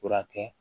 Furakɛ